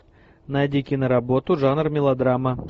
найди киноработу жанр мелодрама